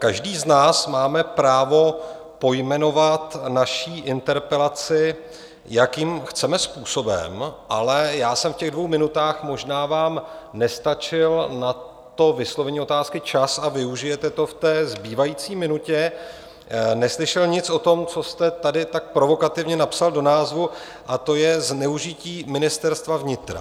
Každý z nás máme právo pojmenovat naši interpelaci, jakým chceme způsobem, ale já jsem v těch dvou minutách - možná vám nestačil na to vyslovení otázky čas a využijete to v té zbývající minutě - neslyšel nic o tom, co jste tady tak provokativně napsal do názvu, a to je zneužití Ministerstva vnitra.